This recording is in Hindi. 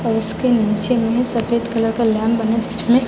हाउस के नीचे में सफेद कलर का लैंप बना जिसमे--